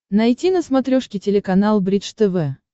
найти на смотрешке телеканал бридж тв